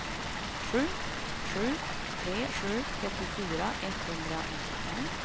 sju sju tre sju trettiofyra etthundranittiofem